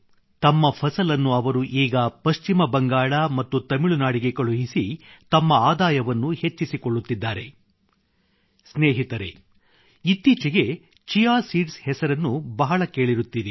ತಮ್ಮ ಫಸಲನ್ನು ಅವರು ಈಗ ಪಶ್ಚಿಮ ಬಂಗಾಳ ಮತ್ತು ತಮಿಳುನಾಡಿಗೆ ಕಳುಹಿಸಿ ತಮ್ಮ ಆದಾಯವನ್ನು ಹೆಚ್ಚಿಸಿಕೊಳ್ಳುತ್ತಿದ್ದಾರೆ ಸ್ನೇಹಿತರೆ ಇತ್ತೀಚೆಗೆ ಚಿಯಾ ಸೀಡ್ಸ್ ಹೆಸರನ್ನು ಬಹಳ ಕೇಳಿರುತ್ತೀರಿ